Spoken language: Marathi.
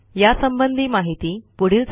यासंबंधी माहिती पुढील साईटवर उपलब्ध आहे